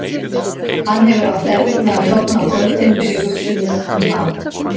Hann hefur átt erfitt með að sofna á kvöldin fyrir hugsunum um hana.